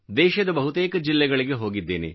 ದೇಶದ ಬಹುತೇಕ ಜಿಲ್ಲೆಗಳಿಗೆ ಹೋಗಿದ್ದೇನೆ